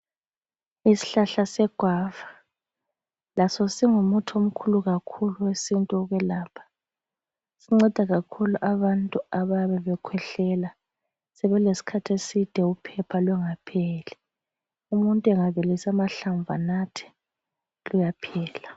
Ishlahla seguava laso singumuthi omkhulu kakhulu owesintu okwelapha. Sinceda kakhulu abantu abayabe bekhwehlela sebelesikhathi eside uphepha lungapheli. Umuntu engabilisa amahlamvu enathe luyaphela.